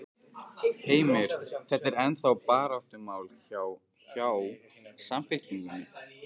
Heimir: Þetta er ennþá baráttumál hjá, hjá Samfylkingunni?